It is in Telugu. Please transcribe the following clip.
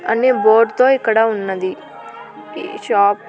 అన్నీ బోర్డు తో ఇక్కడ ఉన్నది ఈ షాప్ --